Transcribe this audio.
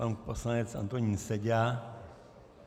Pan poslanec Antonín Seďa.